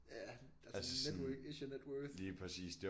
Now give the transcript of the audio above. Ja altså dit network is your net worth